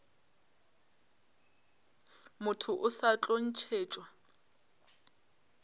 motho o sa tlo ntšhetšwa